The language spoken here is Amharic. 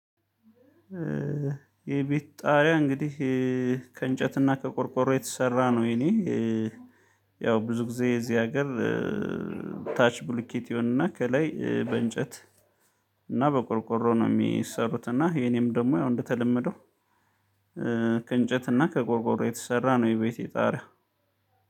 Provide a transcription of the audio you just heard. የቤት ጣሪያ እንግዲህ ከእንጨትና ከቆርቆሮ የተሰራ ነው። የኔ ያው ብዙ ጊዜ እዚህ ሀገር ታች ብልኬት ይሆንና ከላይ በእንጨት እና በቆርቆሮ ነው የሚሰሩት። እና የኔም ደግሞ ያው እንደተለመደው ከእንጨት እና ከቆርቆሮ የተሰራ ነው የቤቴ ጣሪያ